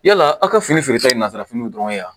Yala aw ka fini feere ta ye nazarafiniw dɔrɔn ye wa